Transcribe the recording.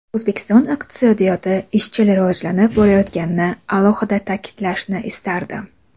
O‘zbekiston iqtisodiyoti izchil rivojlanib borayotganini alohida ta’kidlashni istardim.